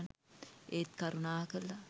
ඒත් කරුණාකරලා